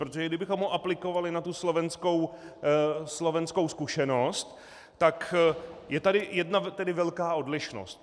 Protože kdybychom ho aplikovali na tu slovenskou zkušenost, tak je tady jedna velká odlišnost.